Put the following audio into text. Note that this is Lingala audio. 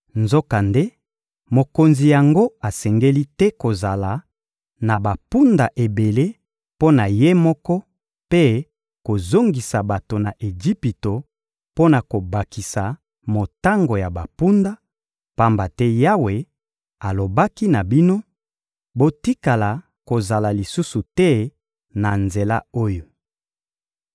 Nzokande mokonzi yango asengeli te kozala na bampunda ebele mpo na ye moko mpe kozongisa bato na Ejipito mpo na kobakisa motango ya bampunda, pamba te Yawe alobaki na bino: «Botikala kozonga lisusu te na nzela oyo.»